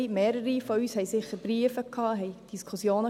Mehrere von uns haben sicher Briefe erhalten, hatten Diskussionen.